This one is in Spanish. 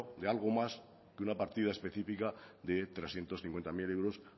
de algo más que una partida específica de trescientos cincuenta mil euros